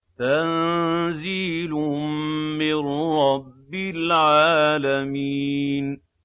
تَنزِيلٌ مِّن رَّبِّ الْعَالَمِينَ